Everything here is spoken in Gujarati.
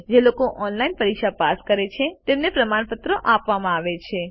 જેઓ ઓનલાઇન પરીક્ષા પાસ કરે છે તેમને પ્રમાણપત્ર આપે છે